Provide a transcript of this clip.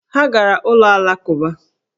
Ha gara ụlọ Alakụba